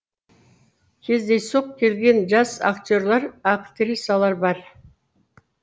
кездейсоқ келген жас актерлар актрисалар бар